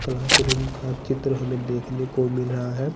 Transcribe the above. Classroom का चित्र हमे देखने को मिल रहा है।